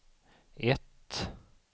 ett